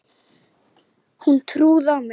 Hún trúði á mig.